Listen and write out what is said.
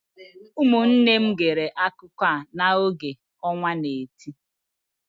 Ụmụnne m gere akụkọ a n’oge ọnwa n'eti